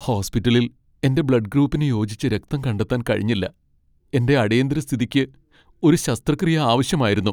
ഹോസ്പിറ്റലിൽ എന്റെ ബ്ലഡ് ഗ്രൂപ്പിന് യോജിച്ച രക്തം കണ്ടെത്താൻ കഴിഞ്ഞില്ല. എന്റെ അടിയന്തിര സ്ഥിതിക്ക് ഒരു ശസ്ത്രക്രിയ ആവശ്യമായിരുന്നു.